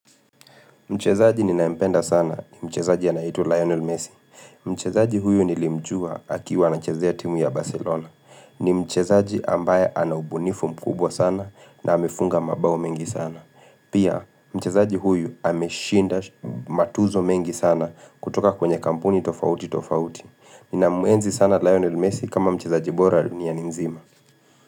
Mchezaji ni naempenda sana ni mchezaji anaeitwa Lionel Messi. Mchezaji huyu nilimjua akiwa anachezea timu ya Barcelona. Ni mchezaji ambaye anaubunifu mkubwa sana na amefunga mabao mengi sana. Pia mchezaji huyu ameshinda matuzo mengi sana kutoka kwenye kampuni tofauti tofauti. Nina muenzi sana Lionel Messi kama mchezaji bora duniani nzima.